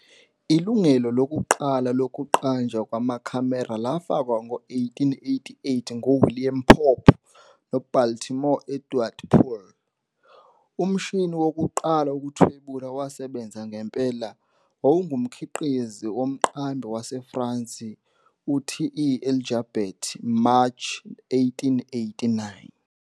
Ilungelo lokuqala lokuqanjwa kwamakhamera lafakwa ngo-1888 nguWilliam Pope noBaltimore Edward Poole. Umshini wokuqala wokuthwebula owasebenza ngempela wawungumkhiqizi womqambi waseFrance u-TE Enjalbert, Mashi 1889.